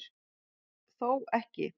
Þó ekki